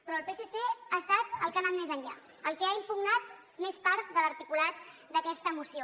però el psc ha estat el que ha anat més enllà el que ha impugnat més part de l’articulat d’aquesta moció